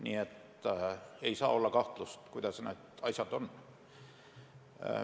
Nii et ei saa olla kahtlust, kuidas need asjad on.